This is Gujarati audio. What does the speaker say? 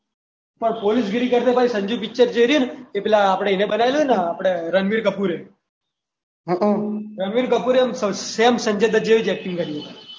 પોલીસગીરી કરતા ભાઈ પેલું સંજુ પિક્ચર જે રહ્યું ને એને આપણે પહેલા એને બનાવેલું આપણે રણવીર કપૂર એ. હ અ. સેમ સંજય દત્ત જેવી એક્ટિંગ કરી છે.